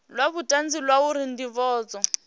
la vhutanzi la uri ndivhadzo